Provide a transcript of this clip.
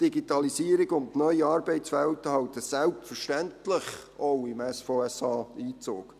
Die Digitalisierung und neue Arbeitswelten halten selbstverständlich auch im SVSA Einzug.